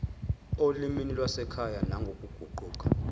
olimini lwasekhaya nangokuguquka